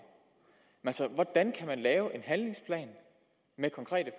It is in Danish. hvordan kan man lave en handlingsplan med konkrete